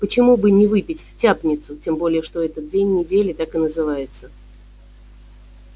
почему бы не выпить в тяпницу тем более что этот день недели так и называется